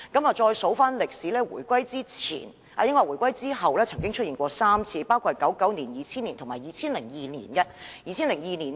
回顧歷史，這情況在回歸後曾經3次出現，分別是在1999年、2000年和2002年。